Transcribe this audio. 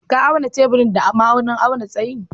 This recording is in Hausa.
Ka auna teburin da ma'aunin auna tsayi?